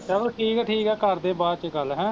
ਚਲੋ ਠੀਕ ਐ ਠੀਕ ਐ ਕਰਦੇ ਬਾਦ ਚ ਗੱਲ ਹੈਂ